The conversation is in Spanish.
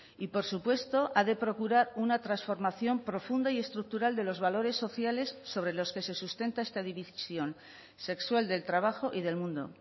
y por supuesto ha de procurar una transformación profunda y estructural de los valores sociales sobre los que se sustenta esta división sexual del trabajo y del mundo